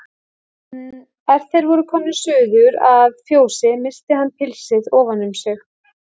En er þeir voru komnir suður að fjósi missti hann pilsið ofan um sig.